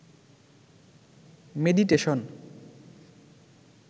meditation